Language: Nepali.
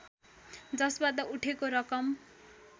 जसबाट उठेको रकम